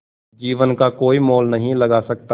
जीवन का कोई मोल नहीं लगा सकता